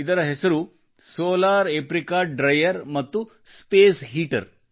ಇದರ ಹೆಸರು solar apricot dryer ಮತ್ತು ಸ್ಪೇಸ್ ಹೀಟರ್